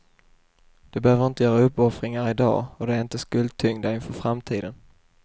De behöver inte göra uppoffringar i dag, och de är inte skuldtyngda inför framtiden.